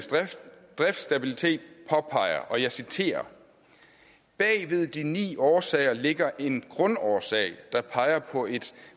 driftsstabilitet og jeg citerer bagved de ni årsager ligger en grundårsag der peger på et